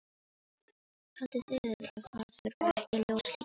Haldið þið að það þurfi ekki ljós líka?